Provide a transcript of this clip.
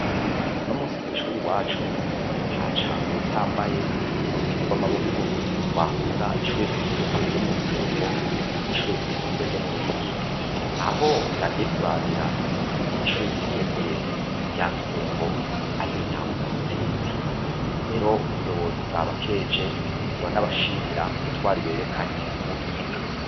Uno musi kw'ishuri iwacu haca uwutambaye mu rukino rw'amaboko rwahuza ishuri ryisumbuye ryo mu Rusengo n'ishuri ryisumbuye ryo mu Ruyigi aho vyagiye kurangira ishuri ryisumbuye rya rusengo ari ryo ritahukanye intsinzi rero ubuyobozi bwa bakeje ura n'abashimira ku butwariberekanye n'ubuhinga.